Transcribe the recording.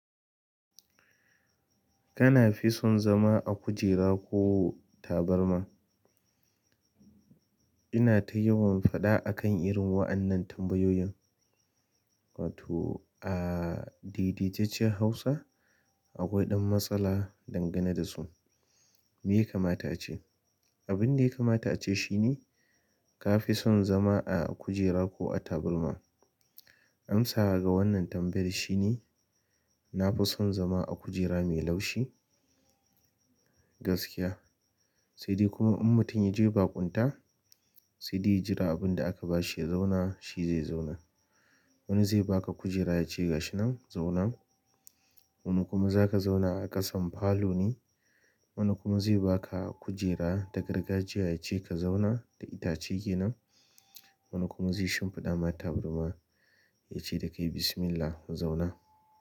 Kana fi son zama a kujera ko tabarma? Ina ta yawan faɗa akan irin wa'annan tambayoyin. Wato a daidaicecciyar Hausa akwai ɗan matsala dangane da su. Me ya kamata ace? Abin da ya kamata ace shine ka fi son zama a kujera ko a tabarma. Amsa ga wannan tambayar shine, na fi son zama a kujera mai laushi gaskiya. Saide kuma in mutum yaje baƙunta saide ya jira abinda aka bashi ya zauna shi zai zauna. Wani zai ba ka kujera ya ce ga shi nan zauna. Wani kuma za ka zauna a ƙasan falo ne. Wani kuma zai ba ka kujera ta gargajiya ya ce ka zauna ta itace ke nan. Wani kuma zai shimfiɗa mata tabarma yace dakai bismismillah, zauna.